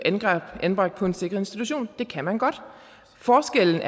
anbragt på en sikret institution det kan man godt forskellen